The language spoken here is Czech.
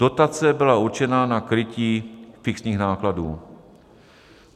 Dotace byla určena na krytí fixních nákladů.